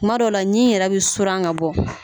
Kuma dɔ la ɲi yɛrɛ bɛ soran ka bɔ.